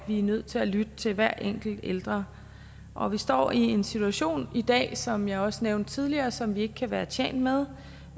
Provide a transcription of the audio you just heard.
er nødt til at lytte til hver enkelt ældre og vi står i en situation i dag som jeg også nævnte tidligere som vi ikke kan være tjent med